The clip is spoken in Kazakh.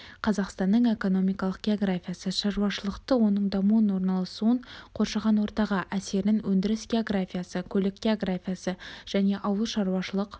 қазақстанның экономикалық географиясы шаруашылықты оның дамуын орналасуын қоршаған ортаға әсерін өндіріс географиясы көлік географиясы және ауыл шаруашылық